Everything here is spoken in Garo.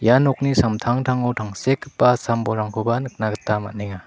ia nokni samtangtango tangsekgipa sam bolrangkoba nikna gita man·enga.